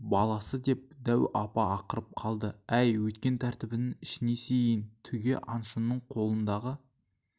баласы деп дәу апа ақырып қалды әй өйткен тәртібіңнің ішіне сиейін түге аңшының қолындағы